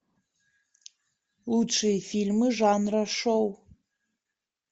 лучшие фильмы жанра шоу